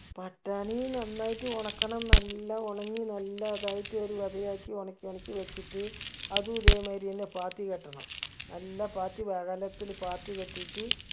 പട്ടാണി നന്നായിട്ട് ഒണക്കണം നല്ല ഒണങ്ങി നല്ല അതായിട്ട് ഒരു വെതയാക്കി ഒണക്കി ഒണക്കി വെച്ചിട്ട് അതു ഇതേ മായിരി എന്നെ പാത്തി കെട്ടണം നല്ല പാത്തി വഴലത്തില് പാത്തി കെട്ടീട്ട്